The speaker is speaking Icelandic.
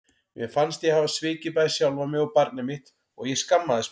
Mér fannst ég hafa svikið bæði sjálfa mig og barnið mitt og ég skammaðist mín.